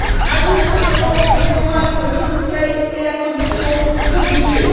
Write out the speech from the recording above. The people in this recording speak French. À nous maintenant de convaincre le Conseil et la Commission de bouger.